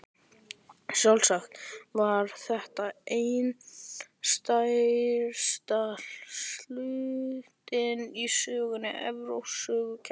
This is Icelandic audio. Sjálfsagt var þetta ein stærsta stundin í sögu Evrópsku söngvakeppninnar.